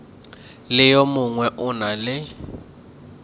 le yo mongwe o na